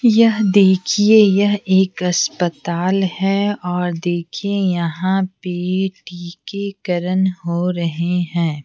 यह देखिए यह एक अस्पताल है और देखिए यहाँ पे टीकेकरण हो रहे हैं।